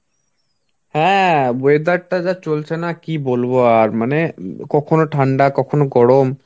হ্যাঁ Weather টা যা চলছে না কি বলব আর মানে উম কখনো ঠান্ডা কখনো গরম.